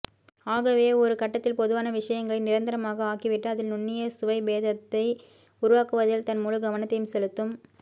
ஆகவே ஒரு கட்டத்தில் பொதுவான விஷயங்களை நிரந்தரமாக ஆக்கிவிட்டு அதில் நுண்ணிய சுவைபேதத்தை உருவாக்குவதில் தன் முழுக்கவனத்தையும் செலுத்தும்